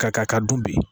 Ka k'a kan dun bi